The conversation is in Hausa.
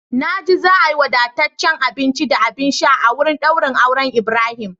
Na ji za a yi wadataccen abinci da abin sha a wurin daurin auren Ibrahim.